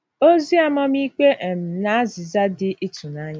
Ozi amamikpe um na azịza dị ịtụnanya.